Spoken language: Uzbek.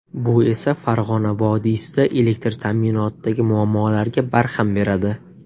Bu esa Farg‘ona vodiysida elektr ta’minotidagi muammolarga barham beradi”.